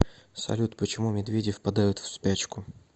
салют почему медведи впадают в спячку